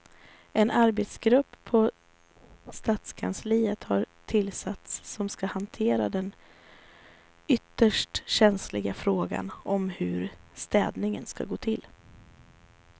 En arbetsgrupp på stadskansliet har tillsatts som ska hantera den ytterst känsliga frågan om hur städningen ska gå till.